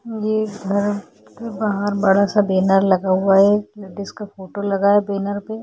इ घर के बाहर बड़ा सा बैनर लगा हुआ है किसी लेडीज का फोटो लगा है बैनर पर --